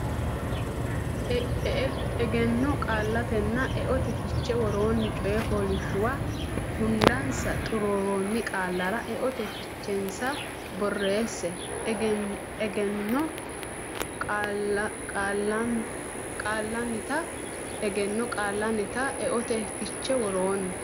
Egenno Qaallannita Eote Fiche Woroonni coy fooliishshuwa hundansa xuruuroonni qaallara eote fichensa borreesse Egenno Qaallannita Egenno Qaallannita Eote Fiche Woroonni.